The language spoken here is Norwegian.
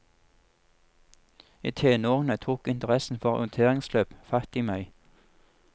I tenårene tok interessen for orienteringsløp fatt i meg.